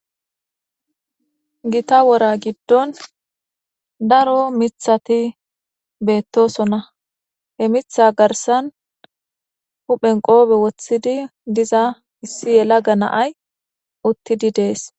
Gita wora giddon daro mithati beettosonna he mitha garsan huphen qoobe woththidi diza issi yela ga naay uttidi dees.